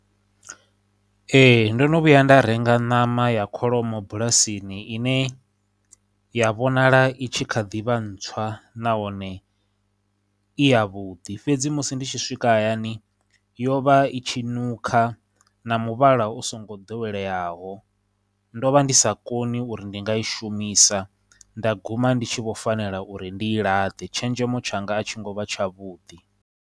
Ee, ndo no vhuya nda renga ṋama ya kholomo bulasini ine ya vhonala i tshi kha ḓivha ntswa nahone i ya vhuḓi fhedzi, musi ndi tshi swika hayani yo vha i tshi nukha na muvhala u songo doweleyaho, ndo vha ndi sa koni uri ndi nga i shumisa nda guma ndi tshi vho fanela uri ndi i ḽaṱe. Tshenzhemo tshanga a tshi ngo vha tshavhuḓi.